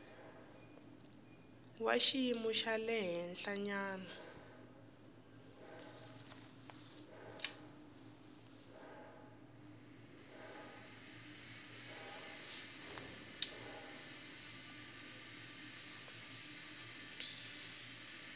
wa xiyimo xa le henhlanyana